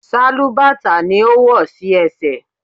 Sálúbàtà ni ó wò sí ẹsẹ̀.